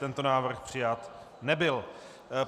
Tento návrh přijat nebyl.